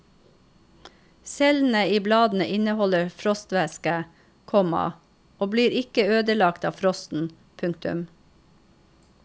Cellene i bladene inneholder frostvæske, komma og blir ikke ødelagt av frosten. punktum